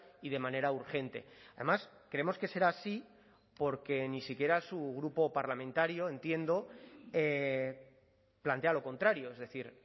y de manera urgente además creemos que será así porque ni siquiera su grupo parlamentario entiendo plantea lo contrario es decir